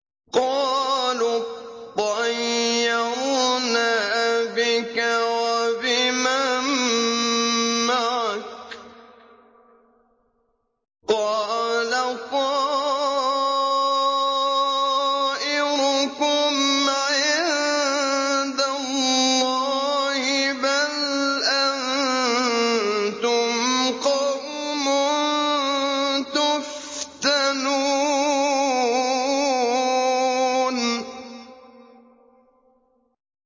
قَالُوا اطَّيَّرْنَا بِكَ وَبِمَن مَّعَكَ ۚ قَالَ طَائِرُكُمْ عِندَ اللَّهِ ۖ بَلْ أَنتُمْ قَوْمٌ تُفْتَنُونَ